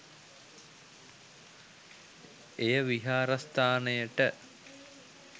එය විහාරස්ථානයට